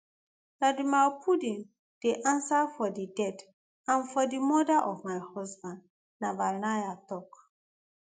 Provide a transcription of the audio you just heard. vladimir putin dey ansa for di death and for di murder of my husband navalnaya tok